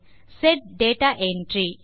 set data entry